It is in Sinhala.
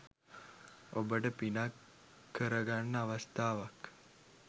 ඔබට පිනක් කරගන්න අවස්ථාවක්.